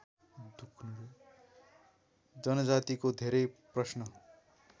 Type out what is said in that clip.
जनजातिको धेरै प्रश्न